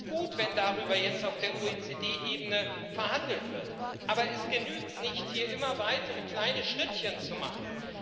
Es ist gut, wenn darüber jetzt auf der OECD Ebene verhandelt wird, aber es genügt nicht, hier immer weitere kleine Schrittchen zu machen.